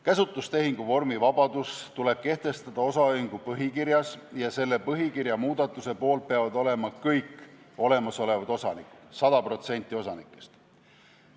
Käsutustehingu vormivabadus tuleb kehtestada osaühingu põhikirjas ja selle põhikirja muudatuse poolt peavad olema kõik olemasolevad osanikud, 100% osanikest.